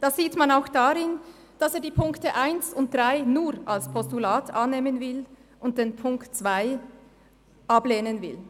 Das sieht man auch daran, dass er die Ziffern 1 und 3 nur als Postulat annehmen und Ziffer 2 ablehnen will.